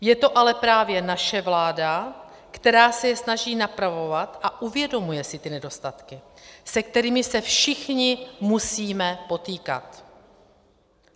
Je to ale právě naše vláda, která se je snaží napravovat a uvědomuje si ty nedostatky, se kterými se všichni musíme potýkat.